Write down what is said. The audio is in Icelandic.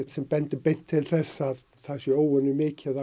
sem bendir beint til þess að það sé óvenjumikið af